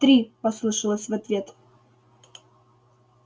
три послышалось в ответ